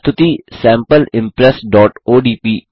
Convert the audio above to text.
प्रस्तुति sample impressओडीपी